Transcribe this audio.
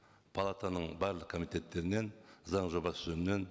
палатаның барлық комитеттерінен заң жобасы жөнінен